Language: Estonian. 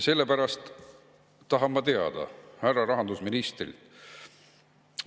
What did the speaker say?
Sellepärast tahan ma teada härra rahandusministrilt järgmist.